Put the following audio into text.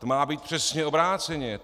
To má být přesně obráceně.